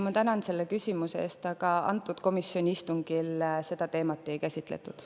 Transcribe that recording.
Ma tänan selle küsimuse eest, aga komisjoni istungil seda teemat ei käsitletud.